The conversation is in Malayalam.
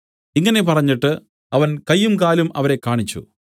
ഇങ്ങനെ പറഞ്ഞിട്ട് അവൻ കയ്യും കാലും അവരെ കാണിച്ചു